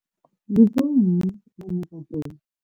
Ndi vho nnyi vhane vha ḓo.